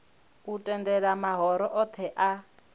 u tendela mahoro othe a